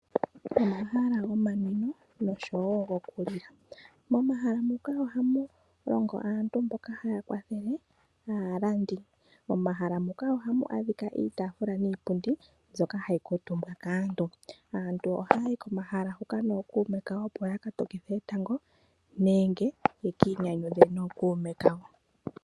Omahala gomanwino goku li la. Momahala muka oha mu longo aantu mboka haya kwathele aalandi. Momahala muka oha mu adhikwa iitafula niipundi mbyoka hayi kuutumbwa kaantu. Aantu ohaya yi komahala huka noomuume kawo opo ya ka tokithe etango nenge ya ka inyanyudhe nookuume kawo.